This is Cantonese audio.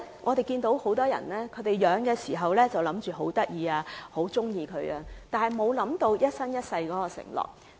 我們看到，很多人開始飼養動物的時候覺得牠們很可愛也很喜歡牠們，完全沒有考慮這是一生一世的承諾。